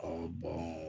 bɔn